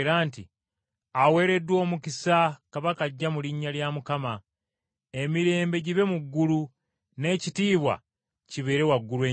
“Aweereddwa omukisa Kabaka ajja mu linnya lya Mukama!” “Emirembe gibe mu ggulu, n’ekitiibwa kibeere waggulu ennyo!”